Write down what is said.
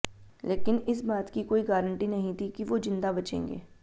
लेकिन इस बात की कोई गारंटी नहीं थी कि वो जिंदा बचेंगे